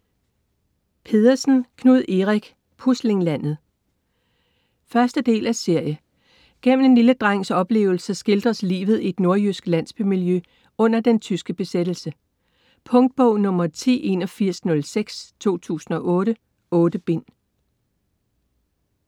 Pedersen, Knud Erik: Puslinglandet 1.del af serie. Gennem en lille drengs oplevelser skildres livet i et nordjysk landsbymiljø under den tyske besættelse. Punktbog 108106 2008. 8 bind.